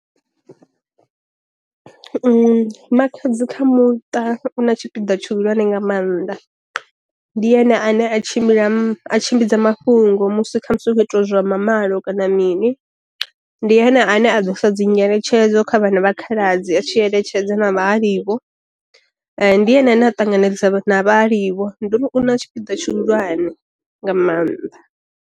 Makhadzi kha muṱa una tshipiḓa tshihulwane nga maanḓa, ndi yone a ne a tshimbila a tshimbidza mafhungo musi kha musi u tshi kho itiwaa zwa mamalo kana mini, ndi ane a ḓo sa dzi nyeletshedzo kha vhana vha khaladzi a tshi eletshedza na vha halivho, ndi ene ane a ṱanganedza vha na vha halivho, nduri u na tshipiḓa tshi hulwane nga maanḓa.